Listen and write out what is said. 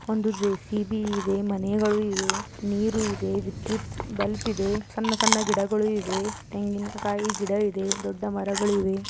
ಒಂದು ಜೆ.ಸಿ.ಬಿ. ಇದೆ ಮನೆಗಳು ಇವೆ ನೀರು ಇದೆ ವಿದ್ಯುತ್ ಬಲ್ಪಿದೆ ಸಣ್ಣ ಸಣ್ಣ ಗಿಡಗಳು ಇವೆ ತೆಂಗಿನಕಾಯಿ ಗಿಡ ಇದೆ ದೊಡ್ಡ ಮರಗಳು ಇವೆ.